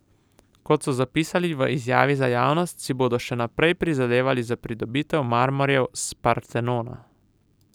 Kot so zapisali v izjavi za javnost, si bodo še naprej prizadevali za pridobitev marmorjev s Partenona.